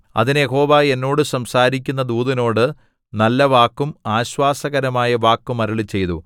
അതിന് യഹോവ എന്നോട് സംസാരിക്കുന്ന ദൂതനോട് നല്ല വാക്കും ആശ്വാസകരമായ വാക്കും അരുളിച്ചെയ്തു